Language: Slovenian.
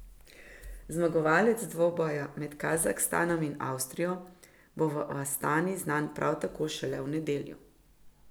Zmagovalec dvoboja med Kazahstanom in Avstrijo bo v Astani znan prav tako šele v nedeljo.